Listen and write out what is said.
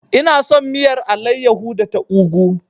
Ina son miyar alayyahu da ta ugwu.